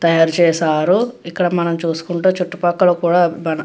తయారు చేసారు ఇక్కడ మనం చూసుకుంటే చుట్టూ పక్కల కూడా మన --